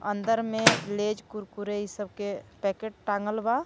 अंदर में लेजकुरकुरे ई सबके पैकेट टांगल बा.